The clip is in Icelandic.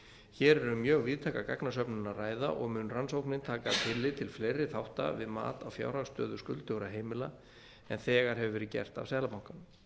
hér er um mjög víðtæka gagnasöfnun að ræða og mun rannsóknin taka tillit til fleiri þátta við mat á fjárhagsstöðu skuldugra heimila en þegar hefur verið gert af seðlabankanum